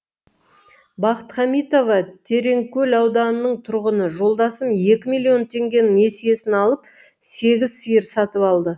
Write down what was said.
бақыт хамитова тереңкөл ауданының тұрғыны жолдасым екі миллион теңгенің несиесін алып сегіз сиыр сатып алды